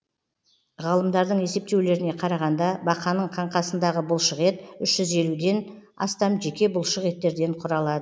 ғалымдардың есептеулеріне қарағанда бақаның қаңқасындағы бұлшықет үш жүз елуден астам жеке бұлшықеттерден құралады